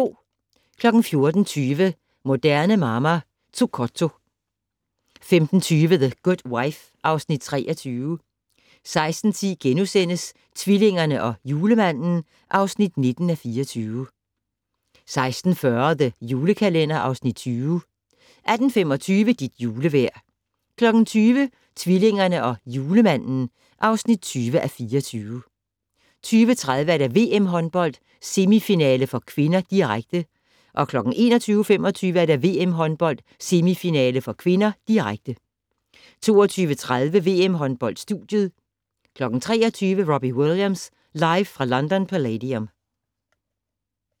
14:20: Moderne Mamma - Zucotto 15:20: The Good Wife (Afs. 23) 16:10: Tvillingerne og Julemanden (19:24)* 16:40: The Julekalender (Afs. 20) 18:25: Dit julevejr 20:00: Tvillingerne og Julemanden (20:24) 20:30: VM-håndbold: Semifinale (k), direkte 21:25: VM-håndbold: Semifinale (k), direkte 22:30: VM-håndbold: Studiet 23:00: Robbie Williams live fra London Palladium